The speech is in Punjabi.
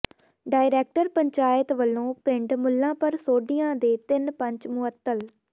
ਡਾਇਰੈਕਟਰ ਪੰਚਾਇਤ ਵੱਲੋਂ ਪਿੰਡ ਮੁੱਲਾਂਪੁਰ ਸੋਢੀਆਂ ਦੇ ਤਿੰਨ ਪੰਚ ਮੁਅੱਤਲ